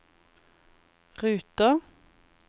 ruter